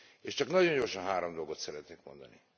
És csak nagyon gyorsan három dolgot szeretnék mondani.